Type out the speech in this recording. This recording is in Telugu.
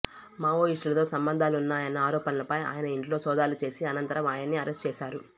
మావోయిస్టులతో సంబంధాలున్నాయన్న ఆరోపణలపై ఆయన ఇంట్లో సోదాలు చేసి అనంతరం ఆయన్ని అరెస్టు చేసారు